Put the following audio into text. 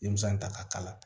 Denmisɛn ta ka kala